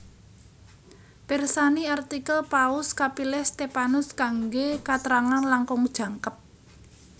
Pirsani artikel Paus kapilih Stephanus kanggé katrangan langkung jangkep